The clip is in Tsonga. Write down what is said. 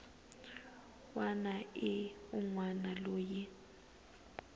wana ni un wana loyi